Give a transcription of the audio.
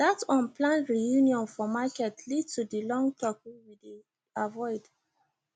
that unplanned reunion for market lead to the long talk we dey avoid